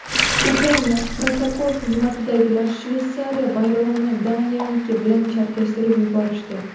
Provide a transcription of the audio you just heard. Ukraina protokol xizmatidagilar Shveysariya bayrog‘ini Daniyaniki bilan chalkashtirib yuborishdi.